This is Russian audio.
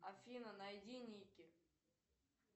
афина найди ники